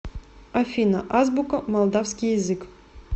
афина азбука молдавский язык